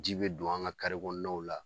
Ji bɛ don an ka kɔnɔnaw la